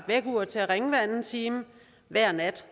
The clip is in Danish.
vækkeur til at ringe hver anden time hver nat